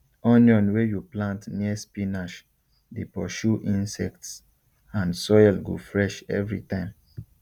onion wey you plant near spinach dey pursue insects and soil go fresh every time